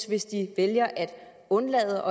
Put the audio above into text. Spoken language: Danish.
hvis de vælger at undlade